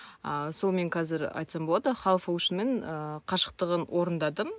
а сонымен қазір айтсам болады хавушнмен ыыы қашықтығын орындадым